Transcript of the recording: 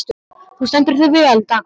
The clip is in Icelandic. Þú stendur þig vel, Dagmar!